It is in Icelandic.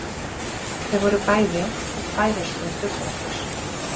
Þau voru bæði í færeyskum duggarapeysum.